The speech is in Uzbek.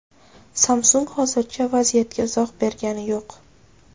Samsung hozircha vaziyatga izoh bergani yo‘q.